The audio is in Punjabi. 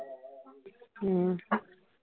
ਹਮ